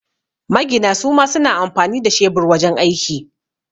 Magina suma suna amfani da shebur wajan aiki